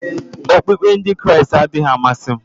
Okpukpe Ndị Kraịst adịghị m amasị m